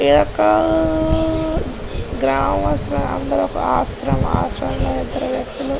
ఇది ఒకా గ్రామ ఆశ్రమం ఆశ్రమం లో ఇద్దరు వ్యక్తులు--